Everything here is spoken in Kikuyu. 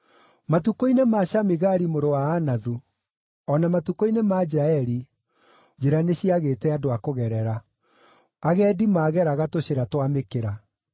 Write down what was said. “Matukũ-inĩ ma Shamigari mũrũ wa Anathu, o na matukũ-inĩ ma Jaeli, njĩra nĩciagĩte andũ a kũgerera; agendi maageraga tũcĩra twa mĩkĩra.